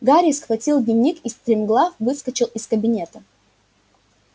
гарри схватил дневник и стремглав выскочил из кабинета